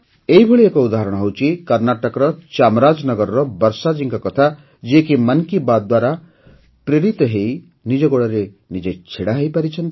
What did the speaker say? ଏହିଭଳି ଏକ ଉଦାହରଣ ହେଉଛି କର୍ଣ୍ଣାଟକର ଚାମରାଜନଗରର ବର୍ଷାଜୀଙ୍କ କଥା ଯିଏ କି ମନ୍ କି ବାତ୍ ଦ୍ୱାରା ପ୍ରେରିତ ହୋଇ ନିଜ ଗୋଡ଼ରେ ନିଜେ ଠିଆ ହୋଇପାରିଛନ୍ତି